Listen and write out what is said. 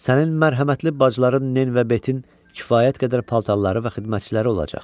Sənin mərhəmətli bacıların, Nin və Betin kifayət qədər paltarları və xidmətçiləri olacaq.